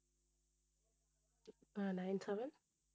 ah nine seven